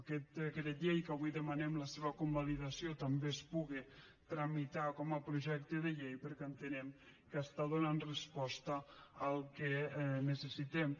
que aquest decret llei que avui en demanem la seva convalidació també es puga tramitar com a projecte de llei perquè entenem que està donant resposta al que necessitem